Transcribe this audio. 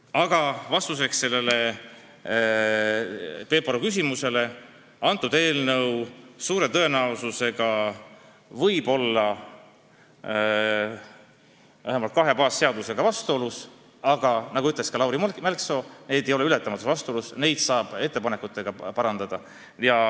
" Aga vastuseks sellele Peep Aru küsimusele ütlen, et eelnõu on suure tõenäosusega vähemalt kahe baasseadusega vastuolus, aga nagu ütles ka Lauri Mälksoo, need ei ole ületamatud vastuolud, neid saab ettepanekuid tehes parandada.